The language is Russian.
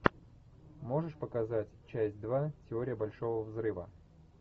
можешь показать часть два теория большого взрыва